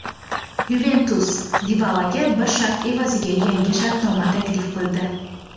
"Yuventus" Dibalaga bir shart evaziga yangi shartnoma taklif qildi;.